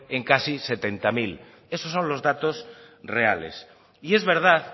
en casi setenta mil esos son los datos reales es verdad